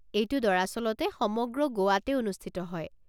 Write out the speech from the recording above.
এইটো দৰাচলতে সমগ্ৰ গোৱাতে অনুষ্ঠিত হয়।